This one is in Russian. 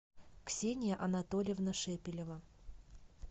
ксения анатольевна шепелева